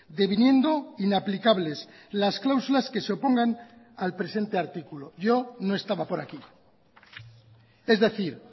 deviniendo inaplicables las cláusulas que se opongan al presente artículo yo no estaba por aquí es decir